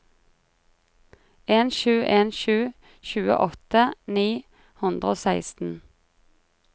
en sju en sju tjueåtte ni hundre og seksten